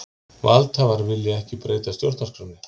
Valdhafar vilja ekki breyta stjórnarskránni